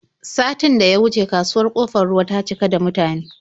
Satin da ya wuce kasuwar Ƙofar Ruwa ta cika da mutane.